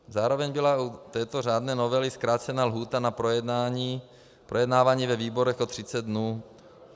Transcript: Zároveň byla u této řádné novely zkrácena lhůta na projednávání ve výborech o 30 dnů.